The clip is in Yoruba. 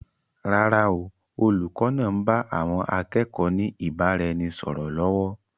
Rárá o, olùkọ́ náà ń bá àwọn akẹ́kọ̀ọ́ ni ìbáraẹnisọọ̀rọ̀ lọ́wọ́.